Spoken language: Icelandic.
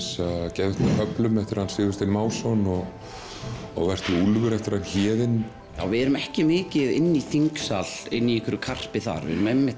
geðveikt með köflum eftir Sigurstein Másson og og vertu úlfur eftir Héðinn við erum ekki mikið inni í þingsal í karpi þar við